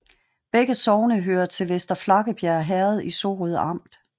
Begge sogne hørte til Vester Flakkebjerg Herred i Sorø Amt